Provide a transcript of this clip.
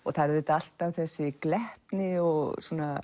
það er alltaf þessi glettni og